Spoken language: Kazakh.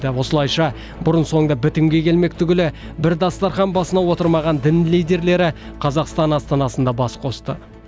осылайша бұрын соңды бітімге келмек түгілі бір дастархан басына отырмаған дін лидерлері қазақстан астанасында бас қосты